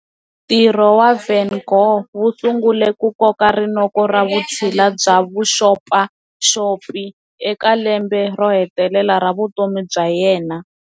Ntirho wa Van Gogh wu sungule ku koka rinoko ra vutshila bya vaxopaxopi eka lembe ro hetelela ra vutomi bya yena.